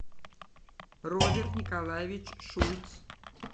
роберт николаевич шульц